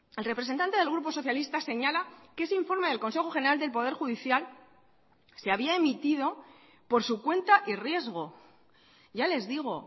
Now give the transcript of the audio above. el representante del grupo socialista señala que ese informe del consejo general del poder judicial se había emitido por su cuenta y riesgo ya les digo